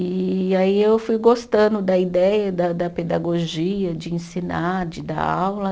E aí eu fui gostando da ideia da da pedagogia, de ensinar, de dar aula.